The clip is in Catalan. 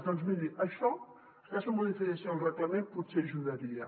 doncs miri això aquesta modificació del reglament potser hi ajudaria